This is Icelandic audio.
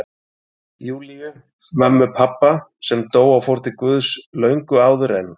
Júlíu, mömmu pabba, sem dó og fór til Guðs löngu áður en